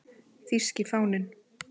Þýski fáninn